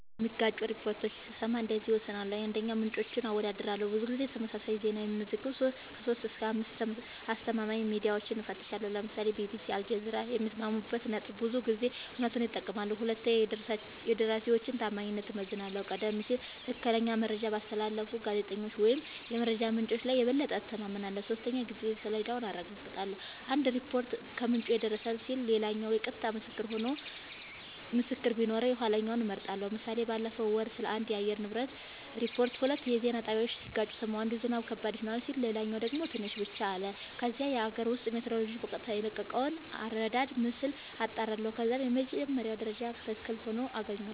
የሚጋጩ ሪፖርቶችን ስሰማ እንደዚህ እወስናለሁ :- 1, ምንጮችን አወዳድራለሁ :-ብዙ ጊዜ ተመሳሳይ ዜና የሚዘግቡ 3-5አስተማማኝ ሚድያወችን እፈትሻለሁ ( ለምሳሌ ቢቢሲ አልጀዚራ )የሚስማሙበት ነጥብ ብዙ ጊዜ እውነቱን ይጠቁማል 2 የደራሲወችን ታማኝነት እመዝናለሁ :-ቀደም ሲል ትክክለኛ መረጃ ባስተላለፉ ጋዜጠኞች ወይም የመረጃ ምንጮች ላይ የበለጠ እተማመናለሁ። 3 የጊዜ ሰሌዳውን አረጋግጣለሁ :- አንድ ሪፖርት "ከምንጭ የደረሰን" ሲል ሌላኛው የቀጥታ ምስክር ቢኖረው የኋለኛውን እመርጣለሁ ## ምሳሌ ባለፈው ወር ስለአንድ የአየር ንብረት ሪፖርት ሁለት የዜና ጣቢያወች ሲጋጩ ሰማሁ። አንዱ "ዝናብ ከባድ ይሆናል " ሲል ሌላኛው ደግሞ "ትንሽ ብቻ " አለ። ከዛም የአገር ውስጥ ሜትሮሎጅ በቀጥታ የለቀቀውን አራዳር ምስል አጣራሁ ከዛም የመጀመሪያው መረጃ ትክክል ሆኖ አገኘሁት